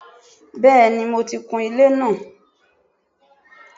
Bẹ́ẹ̀ni mo ti kun ilé náà